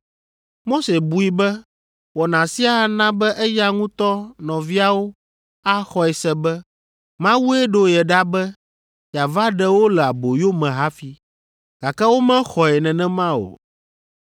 Mose bui be wɔna sia ana be eya ŋutɔ nɔviawo axɔe se be Mawue ɖo ye ɖa be yeava ɖe wo le aboyo me hafi, gake womexɔe nenema o.